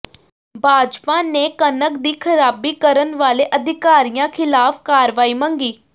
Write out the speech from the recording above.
ਭਾਜਪਾ ਨੇ ਕਣਕ ਦੀ ਖ਼ਰਾਬੀ ਕਰਨ ਵਾਲੇ ਅਧਿਕਾਰੀਆਂ ਖ਼ਿਲਾਫ਼ ਕਾਰਵਾਈ ਮੰਗੀ